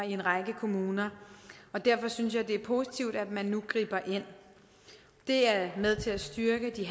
i en række kommuner derfor synes jeg det er positivt at man nu griber ind det er med til at styrke